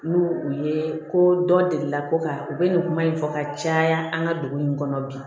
N'u u ye ko dɔ deli ko ka u bɛ nin kuma in fɔ ka caya an ka dugu in kɔnɔ bi